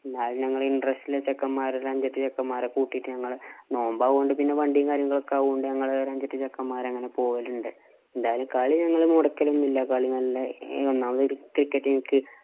എല്ലാരും ഞങ്ങള് interest ഉള്ള ചെക്കന്മാരെ കൂട്ടിട്ട് അഞ്ചെട്ടു ചെക്കന്മാരെ കൂട്ടിട്ട് ഞങ്ങള് നോമ്പാവോണ്ട് പിന്നെ വണ്ടീം, കാര്യങ്ങളും ഒക്കെ അതുകൊണ്ട് ഞങ്ങള് അഞ്ചെട്ടു ചെക്കന്മാര് അങ്ങനെ പോകലുണ്ട്. എന്തായാലും കളി ഞങ്ങള്‍ മൊടക്കല്‍ ഒന്നും ഇല്ല. കളി നല്ല ഒന്നാമത് cricket എനിക്ക്